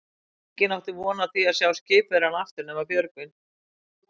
Enginn átti von á því að sjá skipverjana aftur nema Björgvin.